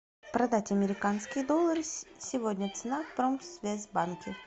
продать американские доллары сегодня цена в промсвязьбанке